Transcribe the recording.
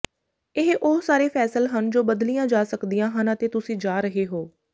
ਇਹ ਉਹ ਸਾਰੇ ਫੈਸਲ ਹਨ ਜੋ ਬਦਲੀਆਂ ਜਾ ਸਕਦੀਆਂ ਹਨ ਅਤੇ ਤੁਸੀ ਜਾ ਰਹੇ ਹੋ